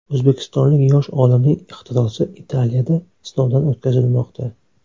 O‘zbekistonlik yosh olimning ixtirosi Italiyada sinovdan o‘tkazilmoqda.